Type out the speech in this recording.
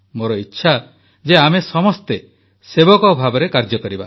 ମୋର ଇଚ୍ଛା ଯେ ଆମେ ସମସ୍ତେ ସେବକ ଭାବରେ କାର୍ଯ୍ୟ ଜାରି ରଖିବା